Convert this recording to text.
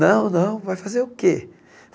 Não, não, vai fazer o quê?